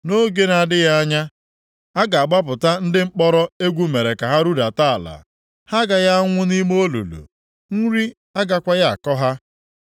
Nʼoge na-adịghị anya, a ga-agbapụta ndị mkpọrọ egwu mere ka ha rudata ala. Ha agaghị anwụ nʼime olulu, nri agakwaghị akọ ha.